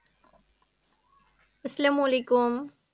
আসসালামু আলাইকুম